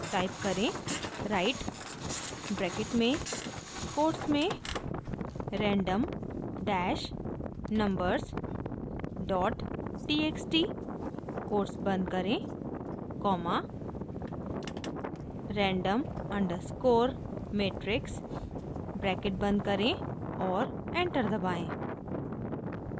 type करें:> write bracket में quotes में random dash numbers dot txt quotes बंद करें comma random underscore matrix bracket बंद करें और एंटर दबाएं